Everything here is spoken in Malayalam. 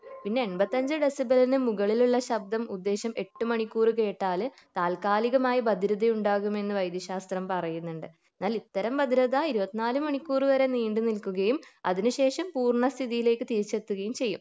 പിന്നെ എൺപത്തിയഞ്ചു ഡെസിബെലിന് മുകളിലുള്ള ശബ്ദം ഉദ്ദേശം എട്ട് മണിക്കൂർ കേട്ടാൽ താൽകാലികമായി ബധിരത ഉണ്ടാകുമെന്ന് വൈദ്യശാസ്ത്രം പറയുന്നുണ്ട് എന്നാൽ ഇത്തരം ബധിരത ഇരുപത്തിനാല് മണിക്കൂർ വരെ നീണ്ടു നിൽക്കുകയും അതിന് ശേഷം പൂർണ സ്ഥിതിയിലേക്ക് തിരിച്ചെത്തുകയും ചെയ്യും